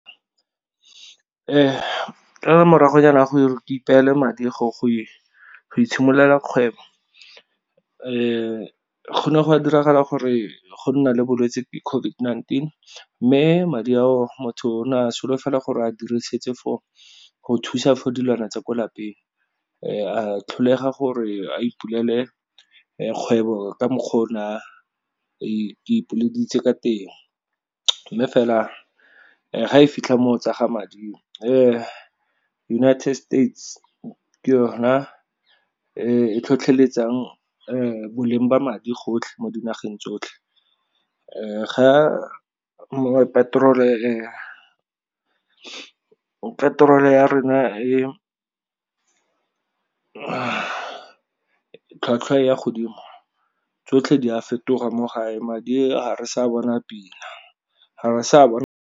Ka la moragonyana go ipeele madi go itshimololela kgwebo go ne go ka diragala gore go nna le bolwetse gote COVID-19, mme madi ao motho o ne a solofela gore a dirisitse for go thusa for dilwana tsa ko lapeng a tlholega gore a ipulele kgwebo ka mokgwa o ne a ka teng. Mme fela ga e fitlha mo go tsa ga madi United States ke yona e tlhotlheletsang boleng ba madi gotlhe mo dinageng tsotlhe, ga mongwe petrol ya rona e ka tlhwatlhwa ya godimo tsotlhe di a fetoga mo gae madi ga re sa bona pila ga re sa .